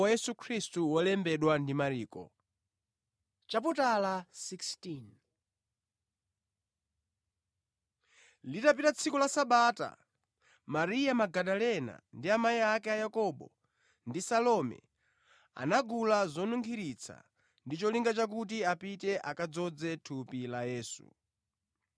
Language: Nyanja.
Litapita tsiku la Sabata, Mariya Magadalena, ndi amayi ake a Yakobo, ndi Salome anagula zonunkhiritsa ndi cholinga chakuti apite akadzoze thupi la Yesu.